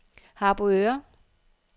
Harboøre